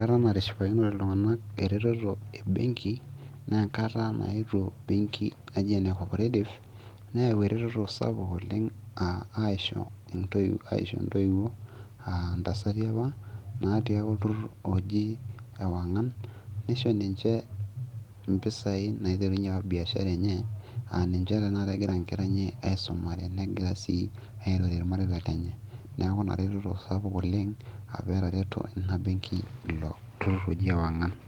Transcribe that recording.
enkata natishipakinote iltung'anak eretoto e benki naa enkata naetuo benki naji ene cooperative neyau eretoto sapuk oleng aisho intoiwuo aa ntasati apa natii apa olturrur oji ewang'an nisho ninche impisai naiterunyie biashara apa enye aa ninche tenakata inkera enye aisumare negira sii aitotiyie irmareita lenye neeku ina reteto sapuk oleng apa etareto ina benki ilo turrur oji ewang'an.